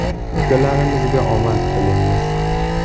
Ukalarimizga omad tilaymiz.